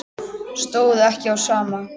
Stóð ekki á sama.